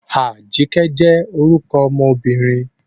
Ajike jẹ́ orúkọ ọmọbìnrin.